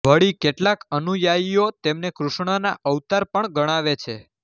વળી કેટલાક અનુયાયીઓ તેમને કૃષ્ણના અવતાર પણ ગણાવે છે